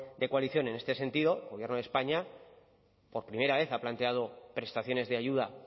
de coalición en este sentido el gobierno de españa por primera vez ha planteado prestaciones de ayuda